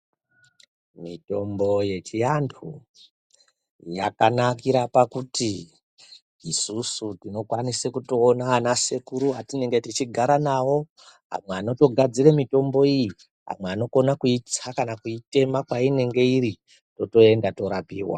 Mitombo yechiantu yakanakire pakuti isusu tinokwanise kutoona anasekuru atinenge tichigara nawo. Amweni anotogadzire mitombo iyi, amwe anokona kuitsakana kuitema painenge iri totoenda toorapiwa.